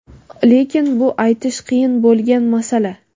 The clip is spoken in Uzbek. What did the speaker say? lekin bu aytish qiyin bo‘lgan masala.